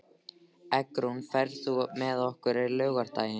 Eggrún, ferð þú með okkur á laugardaginn?